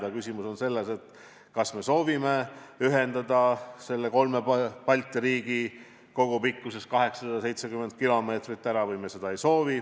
Aga küsimus on selles, kas me soovime ühendada kolm Balti riiki kogupikkuses 870 km või me ei soovi.